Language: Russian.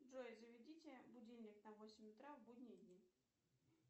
джой заведите будильник на восемь утра в будние дни